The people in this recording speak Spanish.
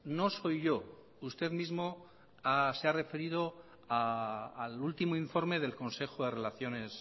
no soy yo usted mismo se ha referido al último informe del consejo de relaciones